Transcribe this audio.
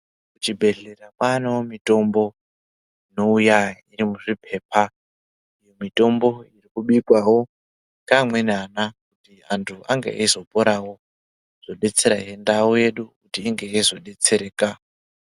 Kuchibhedhlera kwaanewo mitombo inouya iri muzviphepha. Mitombo iri kubikwawo ngeamweni ana, kuti antu ange eizoporawo, zvodetserahe ndau yedu kuti inge yeizodetsereka.